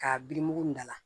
K'a birik'u da la